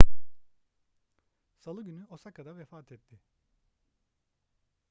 salı günü osaka'da vefat etti